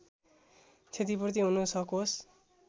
क्षतिपूर्ति हुन सकोस्